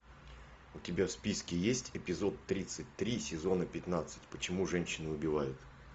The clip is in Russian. у тебя в списке есть эпизод тридцать три сезона пятнадцать почему женщины убивают